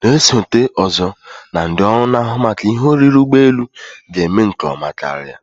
na-esote ozo na ndị ọrụ na-ahụ maka ihe oriri ụgbọ elu ga-eme nke ọma karia